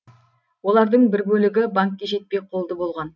олардың бір бөлігі банкке жетпей қолды болған